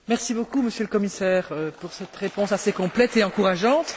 Merci beaucoup, Monsieur le Commissaire, pour cette réponse complète et encourageante.